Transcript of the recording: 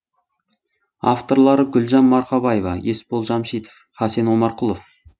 авторлары гүлжан марқабаева есбол жамшитов хасен омарқұлов